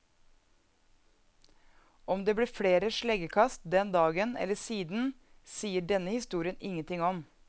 Om det ble flere sleggekast den dagen eller siden, sier denne historien ingen ting om.